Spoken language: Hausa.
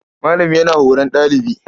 Malami yana horon ɗalibi.